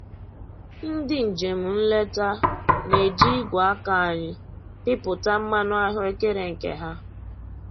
Ndị njem nleta na-eji igwe aka anyị pịpụta mmanụ ahụekere nke ha